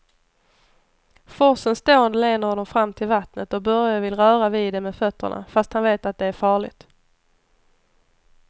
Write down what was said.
Forsens dån leder honom fram till vattnet och Börje vill röra vid det med fötterna, fast han vet att det är farligt.